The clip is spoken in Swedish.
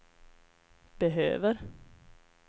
behöver